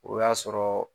O y'a sɔrɔ